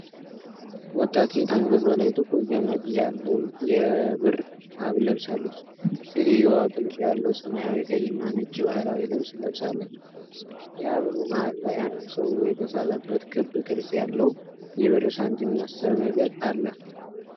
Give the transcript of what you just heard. ወጣት ሴት አንገቷ ላይ ጥቁር ገመድ ያለው የብር ሐብል ለብሳለች። ሴትየዋ ጥልፍ ያለው ሰማያዊ፣ ቀይ እና ነጭ ባህላዊ ልብስ ለብሳለች። የሐብሉ መሐል ላይ አንድ ሰው የተሳለበት ክብ ቅርጽ ያለው የብር ሳንቲም መሰል ነገር አለ።